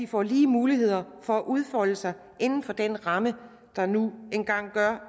får lige muligheder for at udfolde sig inden for den ramme der nu engang